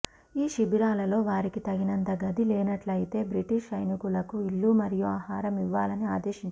ఈ శిబిరాలలో వారికి తగినంత గది లేనట్లయితే బ్రిటీష్ సైనికులకు ఇల్లు మరియు ఆహారం ఇవ్వాలని ఆదేశించారు